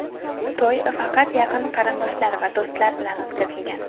To‘y faqat yaqin qarindoshlar va do‘stlar bilan o‘tkazilgan.